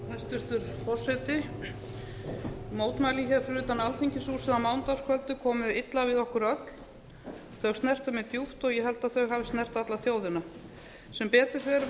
hæstvirtur forseti mótmælin hér fyrir utan alþingishúsið á mánudagskvöldið komu illa við okkur öll þau snerta mig djúpt og ég held að þau hafi snert alla þjóðina sem betur fer